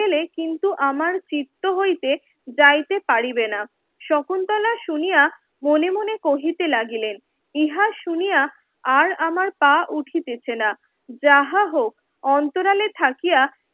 কিন্তু আমার চিত্ত হইতে যাইতে পারিবে না শকুন্তলা শুনিয়া মনে মনে কহিতে লাগিলেন ইহা শুনিয়া আর আমার পা উঠিতেছে না যাহা হোক অন্তরালে থাকিয়া